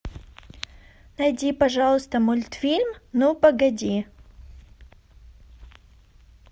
найди пожалуйста мультфильм ну погоди